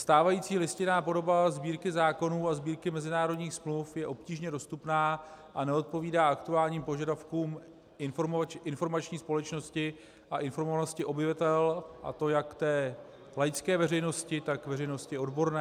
Stávající listinná podoba Sbírky zákonů a Sbírky mezinárodních smluv je obtížně dostupná a neodpovídá aktuálním požadavkům informační společnosti a informovanosti obyvatel, a to jak té laické veřejnosti, tak veřejnosti odborné.